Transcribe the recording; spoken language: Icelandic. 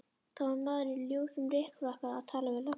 Það var maður í ljósum rykfrakka að tala við löggurnar.